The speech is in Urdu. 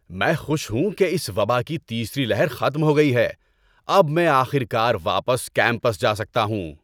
میں خوش ہوں کہ اس وبا کی تیسری لہر ختم ہو گئی ہے۔ اب میں آخر کار واپس کیمپس جا سکتا ہوں۔